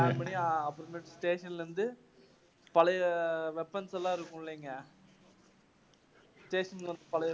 station ல இருந்து பழைய weapons எல்லாம் இருக்கும் இல்லீங்க station உள்ள பழைய